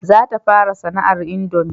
Za ta fara sana'ar indomi